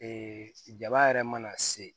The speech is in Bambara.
jaba yɛrɛ mana se